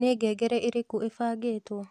nĩ ngengereĩrĩkũĩbangĩtwo